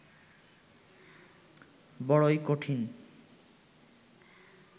বড়ই কঠিন